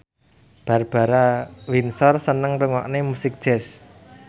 Barbara Windsor seneng ngrungokne musik jazz